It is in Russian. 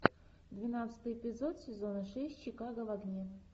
двенадцатый эпизод сезона шесть чикаго в огне